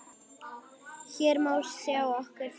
Hér má sjá nokkur þeirra.